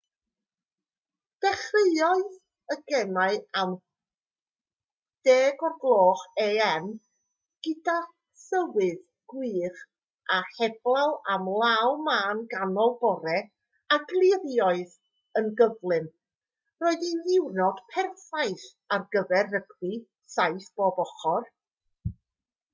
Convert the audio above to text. dechreuodd y gemau am 10:00am gyda thywydd gwych a heblaw am law mân ganol bore a gliriodd yn gyflym roedd hi'n ddiwrnod perffaith ar gyfer rygbi 7 pob ochr